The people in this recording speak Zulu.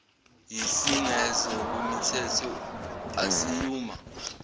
yisengezo kwimithetho asiyuma